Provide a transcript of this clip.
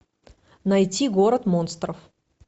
найти город монстров